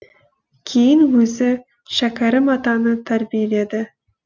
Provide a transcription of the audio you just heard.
кейін өзі шәкәрім атаны тәрбиеледі